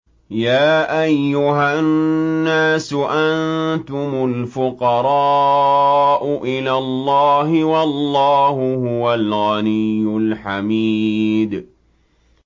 ۞ يَا أَيُّهَا النَّاسُ أَنتُمُ الْفُقَرَاءُ إِلَى اللَّهِ ۖ وَاللَّهُ هُوَ الْغَنِيُّ الْحَمِيدُ